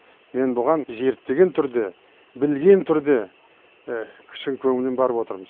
мен бұған зерттеген түрде білген түрде шын көңіліммен барып отырмын